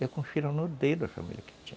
Eu confiro no dedo as famílias que tinha.